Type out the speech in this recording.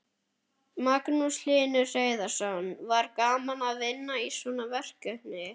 Magnús Hlynur Hreiðarsson: Var gaman að vinna í svona verkefni?